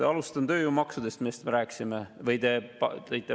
Alustan tööjõumaksudest, millest me rääkisime või mille te välja tõite.